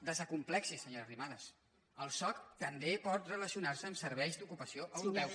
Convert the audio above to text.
desacomplexi’s senyora arrimadas el soc també pot relacionar·se amb serveis d’ocupació europeus